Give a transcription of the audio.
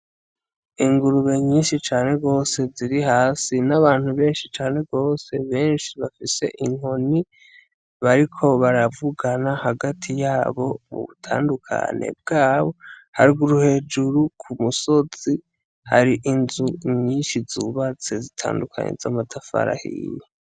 Ingurube nyinshi cane gose ziri hasi n'abantu benshi cane, benshi bafise inkoni bariko baravugana hagati yabo mubutandukane bwabo, haruguru hejuru k'umusozi hari inzu nyinshi zubatse zitandukanye z'amatafari ahiye.